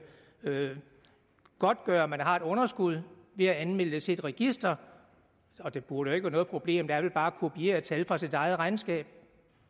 godtgøre at man har et underskud ved at anmelde det til et register det burde jo ikke være noget problem det er vel bare at kopiere tal fra sit eget regnskab